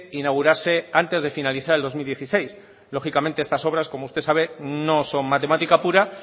inaugurase antes de finalizar el dos mil dieciséis lógicamente estas obras como usted sabe no son matemática pura